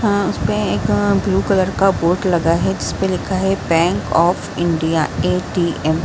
अ उसपे एक blue colour का बोर्ड लगा है जिसपे लिखा है बैंक ऑफ़ इंडिया ए.टी.एम. ।